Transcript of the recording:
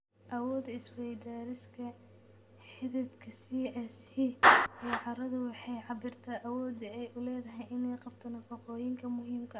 Awooda isweydaarsiga xidhiidhka (CEC) ee carradu waxay cabbirtaa awoodda ay u leedahay inay qabato nafaqooyinka muhiimka ah.